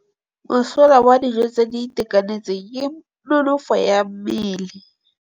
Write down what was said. Mosola wa dijô tse di itekanetseng ke nonôfô ya mmele.